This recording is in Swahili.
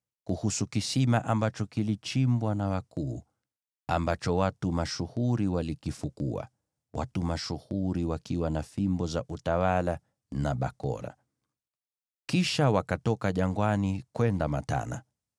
kuhusu kisima ambacho kilichimbwa na wakuu, ambacho watu mashuhuri walikifukua, watu mashuhuri wakiwa na fimbo za utawala na bakora.” Kisha wakatoka jangwani kwenda Matana,